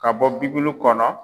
Ka bɔ bibulu kɔnɔ.